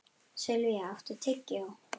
Silvía, áttu tyggjó?